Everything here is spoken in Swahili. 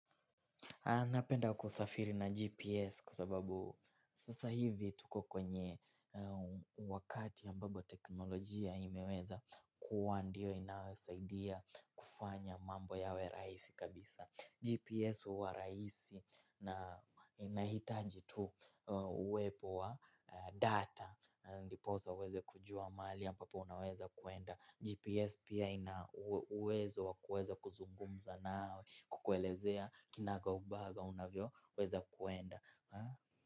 Napenda kusafiri na GPS kwa sababu sasa hivi tuko kwenye wakati ya ambapo teknolojia imeweza kuwa ndio inayosaidia kufanya mambo yawe rahisi kabisa. GPS huwa rahisi na inahitaji tu uwepo wa data. Ndiposa uweze kujua mahali ambapo unaweza kuenda GPS pia ina uwezo wa kuweza kuzungumza nawe kukuelezea kinagaubaga unavyoweza kuenda.